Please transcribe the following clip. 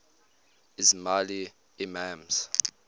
ismaili imams